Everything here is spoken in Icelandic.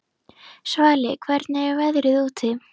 Svali, hvernig er veðrið úti?